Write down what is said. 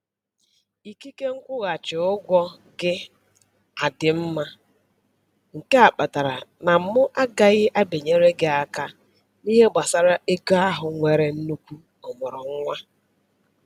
Ikike nkwụghachi ụgwọ gị adị mma, nke a kpatara na mụ agaghị abịanyere gị aka n'ihe gbasara ego ahụ nwere nnukwu ọmụrụ nwa